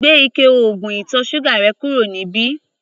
Gbé ike oògùn ìtọ̀ ṣúgà rẹ̀ kúrò níbí!